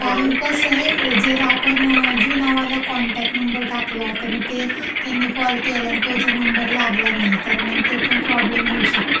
कारण कसंय, जर आपण जुना वाला कॉनटॅक्ट नंबर टाकला, तर मग ते.. त्यांनी कॉल केला, आणि तो जर नंबर लागला नाही, तर मंग ते पण प्रॉब्लेम होऊ शकतो.